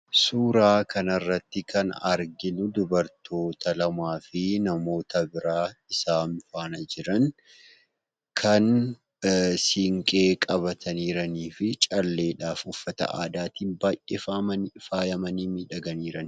Suuraa kanarratti kan arginu dubartoota lamaafi namoota biraa isaan faana jiran kan siinqee qabatanii jiranii fi calleedhaafi uffata aadaatiin baay'ee faayamanii miidhaganii jiranidha.